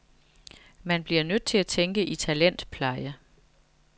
Man bliver nødt til at tænke i talentpleje.